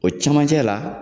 O cɛmancɛ la